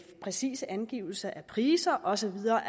præcise angivelser af priser og så videre